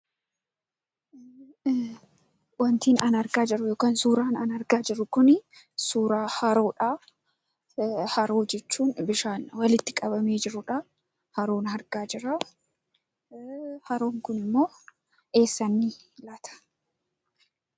Wanti an argaa jiru yookaan suuraan an argaa jiru kunii suuraa haroodhaa. Haroo jechuun bishaan walitti qabamee jirudhaa. Haroon argaa jiraa. Haroon kunimmoo eessa inni laata?